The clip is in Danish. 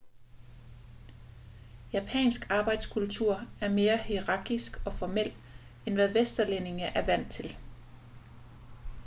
japansk arbejdskultur er mere hierarkisk og formel end hvad vesterlændinge er vant til